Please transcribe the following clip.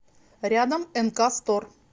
рядом энка стор